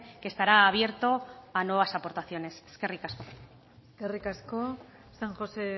que estará abierto a nuevas aportaciones eskerrik asko eskerrik asko san josé